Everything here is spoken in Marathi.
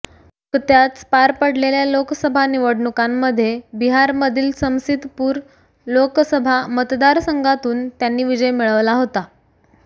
नुकत्याच पार पडलेल्या लोकसभा निवडणुकांमध्ये बिहारमधील समसीतपूर लोकसभामतदारसंघातून त्यांनी विजय मिळवला होता